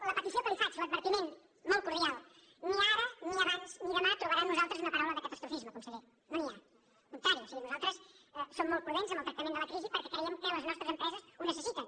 la petició que li faig l’advertiment molt cordial ni ara ni abans ni demà trobarà en nosaltres una paraula de catastrofisme conseller no n’hi ha al contrari o sigui nosaltres som molt prudents amb el tractament de la crisi perquè creiem que les nostres empreses ho necessiten